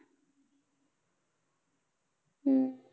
हम्म